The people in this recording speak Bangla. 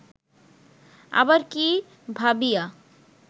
আবার কি ভাবিয়া